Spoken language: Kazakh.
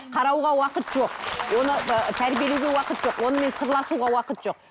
қарауға уақыт жоқ оны ыыы тәрбиелеуге уақыт жоқ онымен сырласуға уақыт жоқ